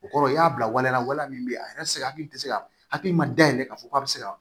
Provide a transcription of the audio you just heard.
O kɔrɔ i y'a bila waleya waleya min bɛ yen a yɛrɛ tɛ se ka hakili tɛ se ka hakili ma dayɛlɛ k'a fɔ k'a bɛ se ka